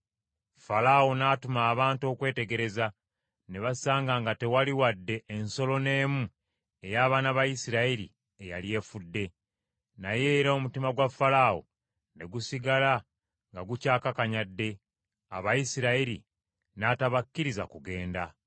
Falaawo n’atuma abantu okwetegereza, ne basanga nga tewali wadde ensolo n’emu ey’abaana ba Isirayiri eyali efudde. Naye era omutima gwa Falaawo ne gusigala nga gukyakakanyadde, Abayisirayiri n’atabakkiriza kugenda.